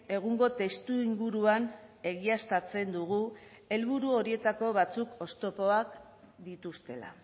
egungo testuinguruan egiaztatzen dugu helburu horietako batzuk oztopoak dituztela